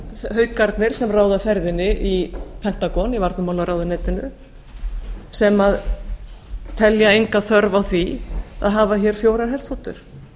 haukarnir sem ráða ferðinni í pentagon í varnarmálaráðuneytinu sem telja enga þörf á því að hafa hér fjórar herþotur